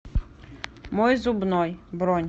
мой зубной бронь